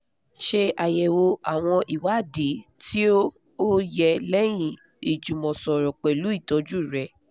ṣe ayẹwo awọn iwadii ti o o yẹ lẹyin ijumọsọrọ pẹlu itọju rẹ